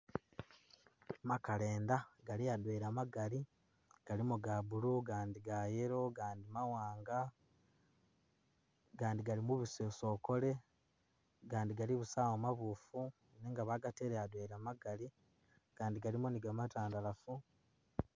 Makalenda gali adwela magali galimo ga blue gandi ga yellow gandi mawanga gandi gali mubusosokole gandi galibusawo mabufu nenga bagatele adwela magali gandi galimo ni gamatandalafu